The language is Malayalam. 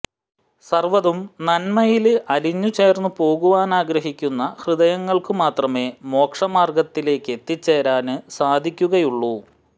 സര്വ്വതും നന്മയില് അലിഞ്ഞു ചേര്ന്നുപോകുവാനാഗ്രഹിക്കുന്ന ഹൃദയങ്ങള്ക്ക് മാത്രമേ മോക്ഷ മാര്ഗത്തിലേക്കെത്തിച്ചേരാന് സാധിക്കുകയുളളു